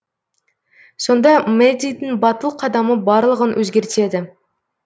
сонда мэддидің батыл қадамы барлығын өзгертеді